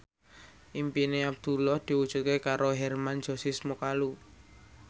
impine Abdullah diwujudke karo Hermann Josis Mokalu